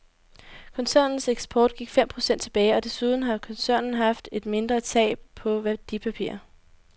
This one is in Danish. Koncernens eksport gik fem procent tilbage, og desuden har koncernen haft et mindre tab på værdipapirer.